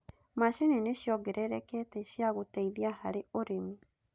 Mashini nĩshiongelelekete cia gũteithia harĩ ũrĩmi